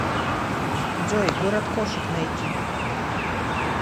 джой город кошек найти